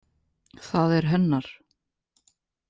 Það er hennar.